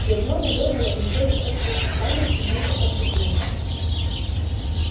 гермиона вырвала у него листок с расписанием и густо покраснела